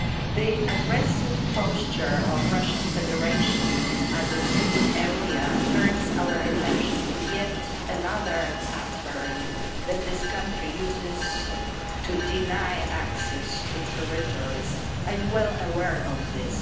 The aggressive posture of the Russian Federation in the Azov Sea area turns our attention to yet another pattern that this country uses to deny access to territories. I am well aware of this.